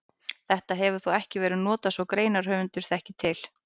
Þetta hefur þó ekki verið notað svo greinarhöfundur þekki til.